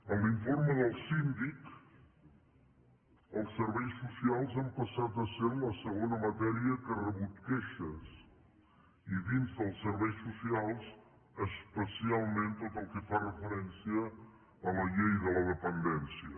en l’informe del síndic els serveis socials han passat a ser la segona matèria que ha rebut queixes i dins dels serveis socials especialment tot el que fa referència a la llei de la dependència